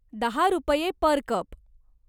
दहा रुपये पर कप.